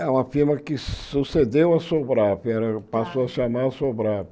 É uma firma que sucedeu à Sobrap, ela passou a chamar a Sobrap.